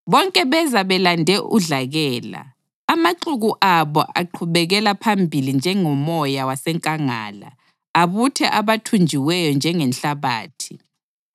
bonke beza belande udlakela. Amaxuku abo aqhubekela phambili njengomoya wasenkangala abuthe abathunjiweyo njengenhlabathi.